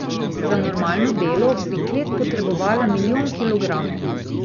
Za normalno delo bi klet potrebovala milijon kilogramov.